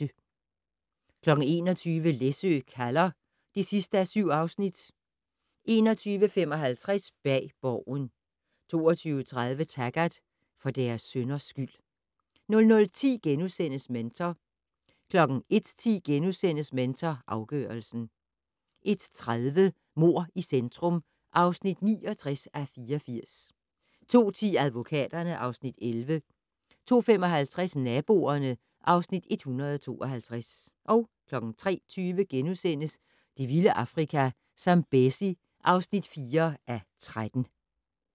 21:00: Læsø kalder (7:7) 21:55: Bag Borgen 22:30: Taggart: For deres synders skyld 00:10: Mentor * 01:10: Mentor afgørelsen * 01:30: Mord i centrum (69:84) 02:10: Advokaterne (Afs. 11) 02:55: Naboerne (Afs. 152) 03:20: Det vilde Afrika - Zambezi (4:13)*